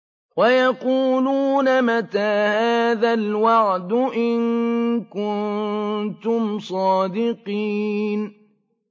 وَيَقُولُونَ مَتَىٰ هَٰذَا الْوَعْدُ إِن كُنتُمْ صَادِقِينَ